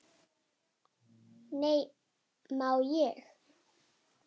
Nei, má ég!